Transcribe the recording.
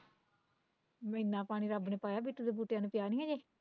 ਮਹੀਨਾ ਪਾਣੀ ਰੱਬ ਨੇ ਪਾਇਆ ਬਿੱਟੂ ਦੇ ਬੂਟਿਆਂ ਨੂੰ ਪਿਆ ਨੀ ਹਜੇ